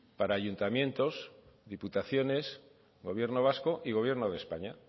para ayuntamientos diputaciones gobierno vasco y gobierno de españa